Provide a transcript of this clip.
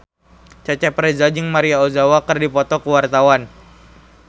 Cecep Reza jeung Maria Ozawa keur dipoto ku wartawan